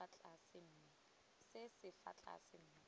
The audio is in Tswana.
se se fa tlase mme